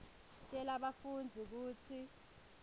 tjela bafundzi kutsi